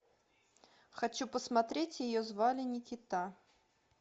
хочу посмотреть ее звали никита